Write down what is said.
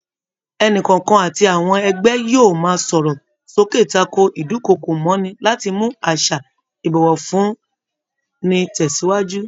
Ẹnìkọ̀ọ̀kan àti àwọn ẹgbẹ́ yóò máa sọ̀rọ̀ sókè tako ídùnkokò mọ́'ni láti mú àṣà ìbọ̀wọ̀ fún ni tẹsiwaju